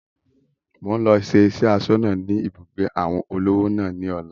Mo ń lọ siṣẹ́ asọ́nà ni ibùgbé àwọn olówò náà ni ọ̀la